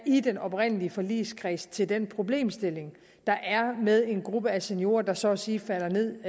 i den oprindelige forligskreds til den problemstilling der er med en gruppe af seniorer der så at sige falder ned